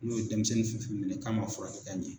N'u ye denmisɛnnin fɛn fɛn minɛ k'a man furakɛ ka ɲɛ.